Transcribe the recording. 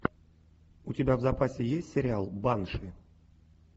у тебя в запасе есть сериал банши